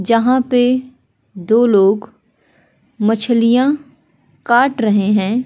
जहां पे दो लोग मछलियां काट रहे हैं।